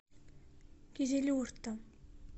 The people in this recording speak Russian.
кизилюрта